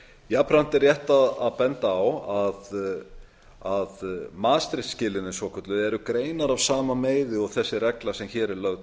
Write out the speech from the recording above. jafnframt er rétt að benda á að maastricht skilyrðin eru greinar af sama meiði og þessi regla sem hér er lögð